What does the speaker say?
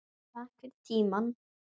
Takk fyrir tímann.